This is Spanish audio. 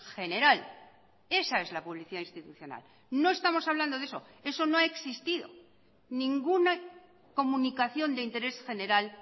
general esa es la publicidad institucional no estamos hablando de eso eso no ha existido ninguna comunicación de interés general